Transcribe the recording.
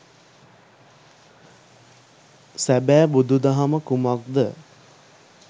සැබෑ බුදු දහම කුමක්ද